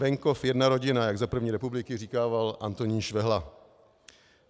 Venkov jedna rodina, jak za první republiky říkával Antonín Švehla.